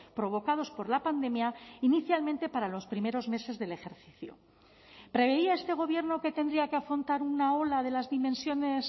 provocados por la pandemia inicialmente para los primeros meses del ejercicio preveía este gobierno que tendría que afrontar una ola de las dimensiones